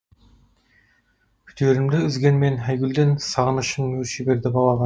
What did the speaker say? күдерімді үзгенменен айгүлден сағынышым өрши берді балаға